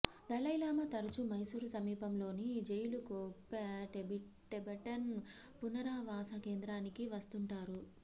Dalai Lama తరచూ మైసూరు సమీపంలోని Bylakuppe Tibetan పునరావాస కేంద్రానికి వస్తుంటారు